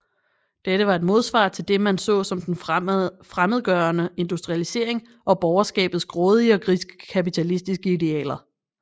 Dette var et modsvar til det man så som den fremmedgørende industrialisering og borgerskabets grådige og griske kapitalistiske idealer